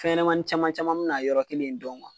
Fɛn ɲɛnɛmanin caman caman mi na yɔrɔ kelen in dɔn